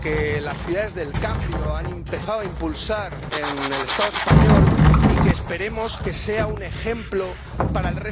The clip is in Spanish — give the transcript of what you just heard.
que las ciudades del cambio han empezado a impulsar en el Estado español —y que esperemos que sea un ejemplo para el resto